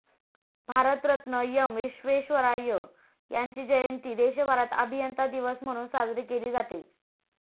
Bharat Ratna M. Visvesvaraya यांची जयंती देशभरात अभियंता दिवस म्हणून साजरी केली जाते.